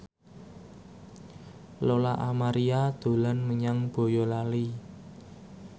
Lola Amaria dolan menyang Boyolali